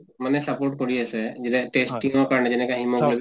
মানে support কৰি আছে যেনে testing ৰ কাৰণে যেনেকে hemoglobin test